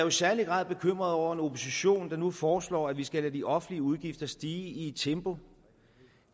i særlig grad bekymret over en opposition der nu foreslår at vi skal lade de offentlige udgifter stige i et tempo